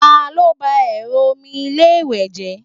talo ba ẹrọ omi ilé iwe je?